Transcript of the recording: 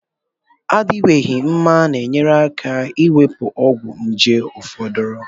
Adiwanyehi mma na enyere aka ewepu ogwu nje foduru